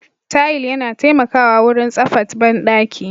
Tayil yana taimakawa wurin tsafat banɗaki